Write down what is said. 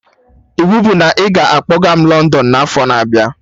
Iwu bụ na ị ga-akpọga m London n'afọ na abịa